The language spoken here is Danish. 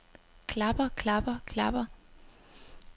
klapper klapper klapper